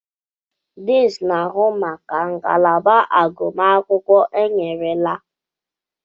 Deans na-ahụ maka ngalaba agụmakwụkwọ enyerela.